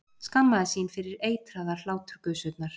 Skammaðist sín fyrir eitraðar hláturgusurnar.